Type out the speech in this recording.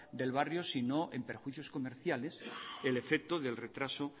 del barrio sino en perjuicios comerciales el efecto del retraso